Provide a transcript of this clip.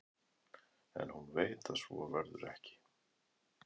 En hún veit að svo verður ekki.